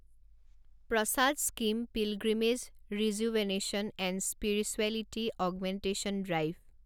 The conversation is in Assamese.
Prasad scheme pilgrimage rejuvenation and spirituality augmentation drive